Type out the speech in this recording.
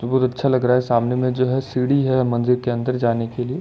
मुझे बहुत अच्छा लग रहा है। सामने में जो सीढ़ी है मन्दिर के अन्दर जाने के लिए।